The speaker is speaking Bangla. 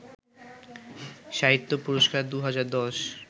সাহিত্য পুরস্কার ২০১০